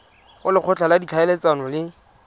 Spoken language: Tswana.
go lekgotla la ditlhaeletsano le